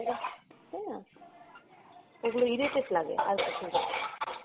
তাইনা? এইগুলা irritate লাগে আর কিছুনা।